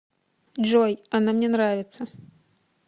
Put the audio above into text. джой она мне нравится